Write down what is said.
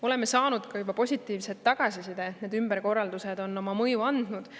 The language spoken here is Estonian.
Oleme saanud juba ka positiivset tagasisidet, et need ümberkorraldused on oma mõju avaldanud.